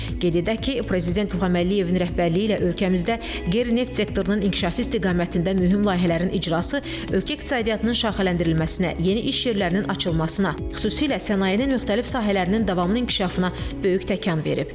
Qeyd edək ki, prezident İlham Əliyevin rəhbərliyi ilə ölkəmizdə qeyri-neft sektorunun inkişafı istiqamətində mühüm layihələrin icrası ölkə iqtisadiyyatının şaxələndirilməsinə, yeni iş yerlərinin açılmasına, xüsusilə sənayenin müxtəlif sahələrinin davamlı inkişafına böyük təkan verib.